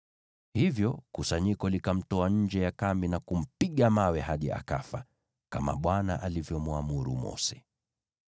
Hivyo kusanyiko likamtoa nje ya kambi na kumpiga mawe hadi akafa, kama Bwana alivyomwamuru Mose.